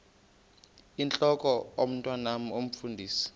intlok omntwan omfundisi